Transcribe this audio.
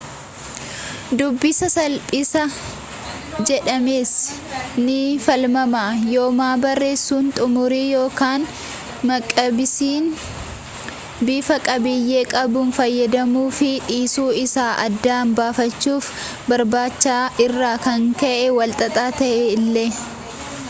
dubbisa salphisa jedhamees ni falmama yooma barreessuun xumurri yookaan maqibsiin bifa qabiyyee qabuun fayyadamamuu fi dhiisuu isaa adda baafachuu barbaacha irraa kan ka'e walxaxaa ta'e illee